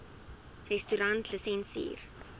restaurantlisensier